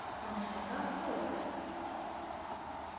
function का flow